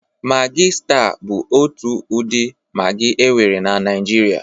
Magị staa bụ otu ụdị magị e nwere na Naịjirịa.